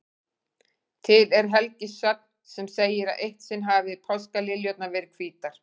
Til er helgisögn sem segir að eitt sinn hafi páskaliljurnar verið hvítar.